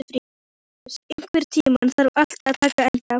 Maríus, einhvern tímann þarf allt að taka enda.